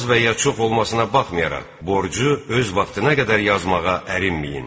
Az və ya çox olmasına baxmayaraq, borcu öz vaxtına qədər yazmağa ərinməyin.